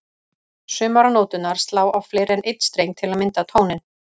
Sumar nóturnar slá á fleiri en einn streng til að mynda tóninn.